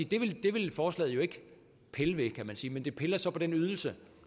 det ville forslaget jo ikke pille ved men det piller så ved den ydelse